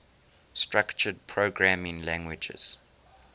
structured programming languages